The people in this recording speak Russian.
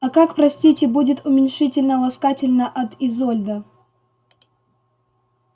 а как простите будет уменьшительно-ласкательно от изольда